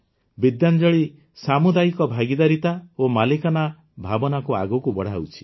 ବିଦ୍ୟାଞ୍ଜଳି ସାମୁଦାୟିକ ଭାଗିଦାରିତା ଓ ମାଲିକାନା ଭାବନାକୁ ଆଗକୁ ବଢ଼ାଉଛି